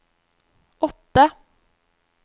åtte